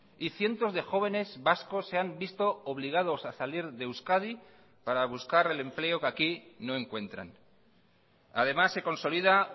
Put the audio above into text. y cientos de jóvenes vascos se han visto obligados a salir de euskadi para buscar el empleo que aquí no encuentran además se consolida